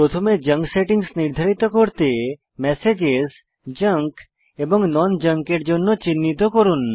প্রথমে junk settings নির্ধারিত করে ম্যাসেজেস জাঙ্ক এবং non জাঙ্ক এর জন্য চিহ্নিত করুন